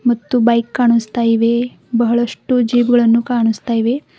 ಮತ್ತು ಬೈಕ್ ಕಾಣಿಸ್ತಾ ಇವೆ ಬಹಳಷ್ಟು ಜೀಪ್ ಗಳನ್ನು ಕಾಣಿಸ್ತಾ ಇವೆ.